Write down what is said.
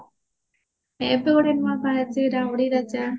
ଏଥର ନୂଆ